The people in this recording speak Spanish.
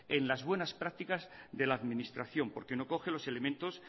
en las buenas prácticas de la administración porque no coge los elementos